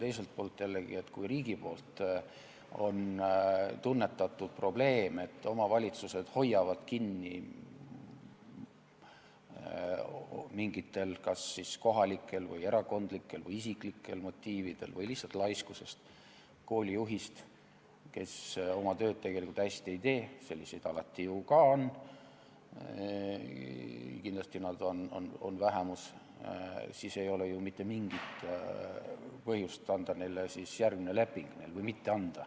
Teiselt poolt jällegi, kui riik on tunnetanud probleemi, et omavalitsused hoiavad mingitel kas kohalikel, erakondlikel või isiklikel motiividel või lihtsalt laiskusest kinni koolijuhist, kes oma tööd tegelikult hästi ei tee – selliseid alati ju ka on, kuigi nad on kindlasti vähemuses –, siis ei ole neil ju mitte mingit põhjust mitte anda järgmist lepingut.